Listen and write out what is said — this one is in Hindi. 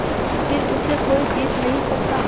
फिर उसे कोई जीत नहीं सकता